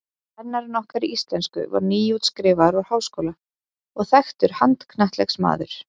Kennari okkar í íslensku var nýútskrifaður úr háskóla og þekktur handknattleiksmaður.